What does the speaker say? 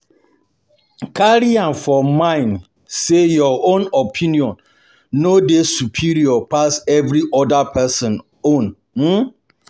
Carry am um for mind sey your own opinion no um dey superior pass every oda person own um